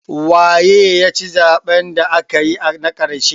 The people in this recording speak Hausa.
Waye ya ci zaɓen da aka yi na ƙarshe?